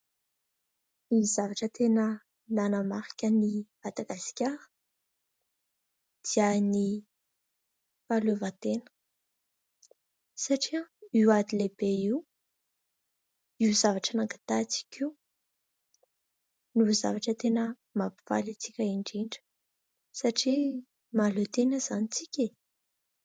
Ny zavatra tena nanamarika ny Madagasikara dia ny fahaleovan-tena satria io ady lehibe io ; io zavatra nangatahantsika io no zavatra tena mampifaly antsika indrindra satria mahaleo-tena izany isika.